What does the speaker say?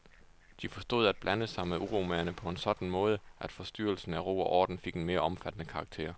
De forstod at blande sig med uromagerne på en sådan måde, at forstyrrelsen af ro og orden fik en mere omfattende karakter.